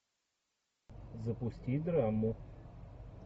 запусти драму